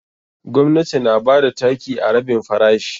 Gwamnati na bada taki a rabin farashi.